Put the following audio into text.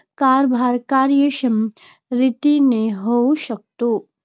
कारभार कार्यक्षम रीतीने होऊ शकतो.